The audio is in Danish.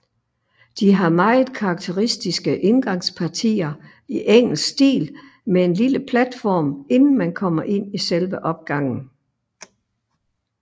De har meget karakteristiske indgangspartier i engelsk stil med en lille platform inden man kommer ind i selve opgangen